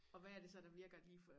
Og hvad er det så der virker lige for